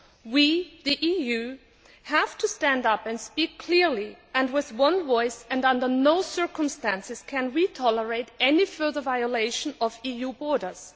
We, the EU, have to stand up and speak clearly with one voice, and under no circumstances can we tolerate any further violation of EU borders.